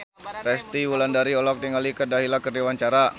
Resty Wulandari olohok ningali Kat Dahlia keur diwawancara